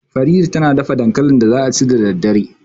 Farida ta na dafa dankalin da za a ci da daddare